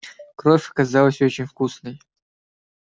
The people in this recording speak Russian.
кровь оказалась очень вкусной